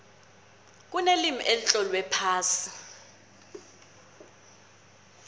kunelimi elitlolwe phasi